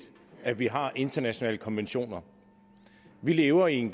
at vi har internationale konventioner vi lever i en